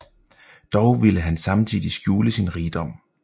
Dog ville han samtidig skjule sin rigdom